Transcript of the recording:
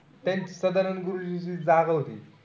ते सदानंद गुरुजींची जागा होती.